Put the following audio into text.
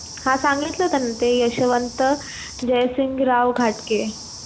हा सांगितलं होतं ना, ते यशवंत जयसिंगराव घाटगे